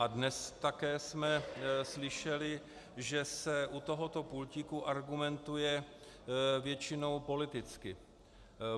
A dnes jsme také slyšeli, že se u tohoto pultíku argumentuje většinou politicky.